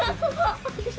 sagði